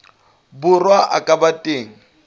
borwa a ka ba teng